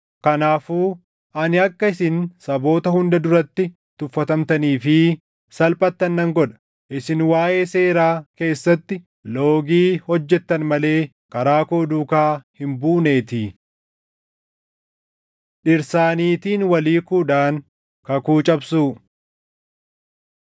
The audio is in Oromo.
“Kanaafuu ani akka isin saboota hunda duratti tuffatamtanii fi salphattan nan godha; isin waaʼee seeraa keessatti loogii hojjettan malee karaa koo duukaa hin buuneetii.” Dhirsaa Niitiin Wal Hiikuudhaan Kakuu Cabsuu